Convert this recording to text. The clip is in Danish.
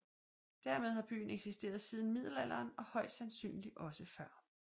Dermed har byen eksisteret siden middelalderen og højst sandsynligt også før